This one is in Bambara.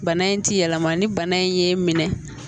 Bana in ti yɛlɛma ni bana in ye minɛ